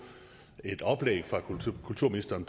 et oplæg fra kulturministeren